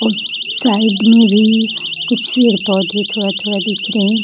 और साइड में भी कुछ पेड़-पौधे थोड़ा-थोड़ा दिख रहे हैं।